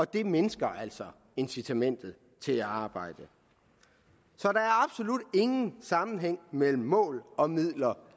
det mindsker altså incitamentet til at arbejde så der er absolut ingen sammenhæng mellem mål og midler